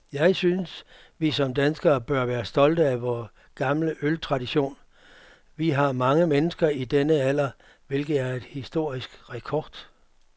Jeg synes, vi som danskere bør være stolte af vor gamle øltradition. Vi har mange mennesker i denne alder, hvilket er en historisk rekord.